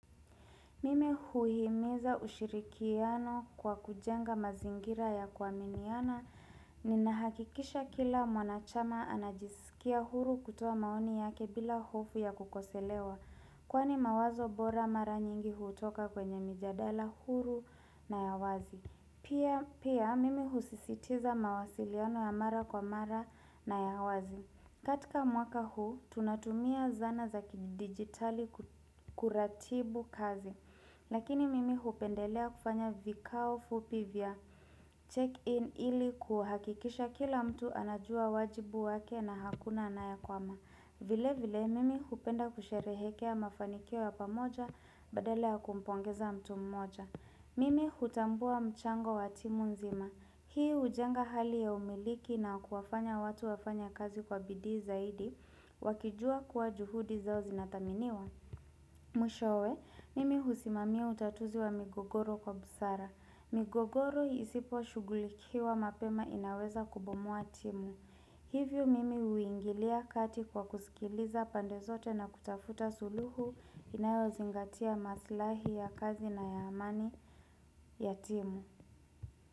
Mimi huihimiza ushirikiano kwa kujenga mazingira ya kuaminiana. Ninahakikisha kila mwanachama anajisikia huru kutoa maoni yake bila hofu ya kukosolewa. Kwani mawazo bora mara nyingi hutoka kwenye mijadala huru na ya wazi. Pia Pia mimi husisitiza mawasiliano ya mara kwa mara na ya wazi. Katika mwaka huu tunatumia zana za kidigitali kuratibu kazi. Lakini mimi hupendelea kufanya vikao fupi vya. Check-in ili kuhakikisha kila mtu anajua wajibu wake na hakuna anayekwama. Vile vile mimi hupenda kusherehekea mafanikio ya pamoja badala ya kumpongeza mtu mmoja. Mimi hutambua mchango wa timu nzima. Hii hujenga hali ya umiliki na kuwafanya watu wafanye kazi kwa bidii zaidi. Wakijua kuwa juhudi zao zinathaminiwa. Mwishowe, mimi husimamia utatuzi wa migogoro kwa busara. Migogoro isipo shugulikiwa mapema inaweza kubomoa timu. Hivyo mimi uingilia kati kwa kusikiliza pandezote na kutafuta suluhu inayozingatia maslahi ya kazi na ya amani ya timu.